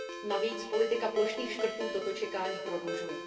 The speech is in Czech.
Navíc politika plošných škrtů toto čekání prodlužuje.